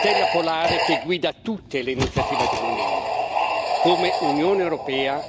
I diritti umani sono la stella polare che guida tutte le iniziative dell'Unione.